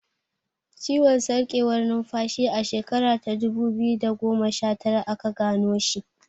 Ciwon sarkewar numfashi a shekara ta dubu biyu da goma shatara aka gano shi.